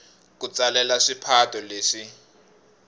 ku tsalela swipato leswi